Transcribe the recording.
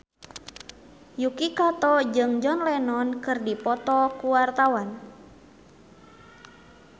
Yuki Kato jeung John Lennon keur dipoto ku wartawan